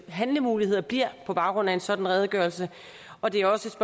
handlemuligheder bliver på baggrund af en sådan redegørelse og det er også